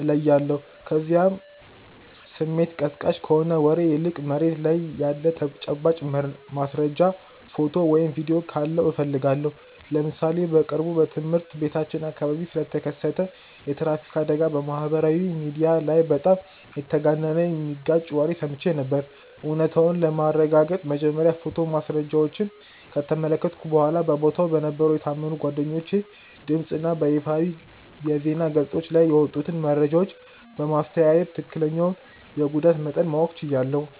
እለያለሁ፤ ከዚያም ስሜት ቀስቃሽ ከሆነ ወሬ ይልቅ መሬት ላይ ያለ ተጨባጭ ማስረጃ፣ ፎቶ ወይም ቪዲዮ ካለው እፈልጋለሁ። ለምሳሌ በቅርቡ በትምህርት ቤታችን አካባቢ ስለተከሰተ የትራፊክ አደጋ በማህበራዊ ሚዲያ ላይ በጣም የተጋነነና የሚጋጭ ወሬ ሰምቼ ነበር፤ እውነታውን ለማረጋገጥ መጀመሪያ የፎቶ ማስረጃዎችን ከተመለከትኩ በኋላ፣ በቦታው በነበሩ የታመኑ ጓደኞቼ ድምፅ እና በይፋዊ የዜና ገጾች ላይ የወጡትን መረጃዎች በማስተያየ ትክክለኛውን የጉዳት መጠን ማወቅ ችያለሁ።